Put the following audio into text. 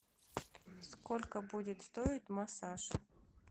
сколько будет стоить массаж